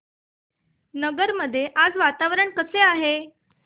नगर मध्ये आज वातावरण कसे आहे